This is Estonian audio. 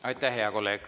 Aitäh, hea kolleeg!